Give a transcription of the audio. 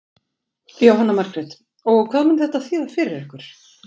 Jóhanna Margrét: Og hvað mun þetta þýða fyrir ykkur?